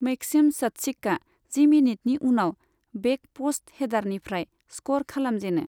Maxim शत्सिखआ जि मिनिटनि उनाव बेक प'स्ट हेडारनिफ्राय स्क'र खालामजेनो।